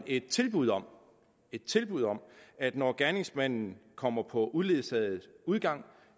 et tilbud om et tilbud om at når gerningsmanden kommer på uledsaget udgang